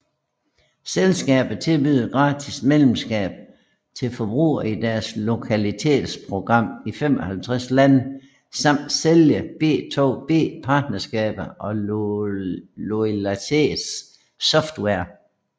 Selskabet tilbyder gratis medlemskab til forbrugere i deres loyalitets program i 55 lande samt sælger B2B partnerskaber og Loyalitets software